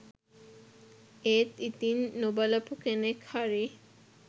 ඒත් ඉතින් නොබලපු කෙනෙක් හරි